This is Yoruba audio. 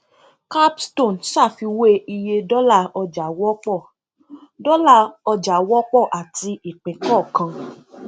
capstone ṣàfiwé iye dọlà ọjà wọpọ dọlà ọjà wọpọ àti ìpín kọọkan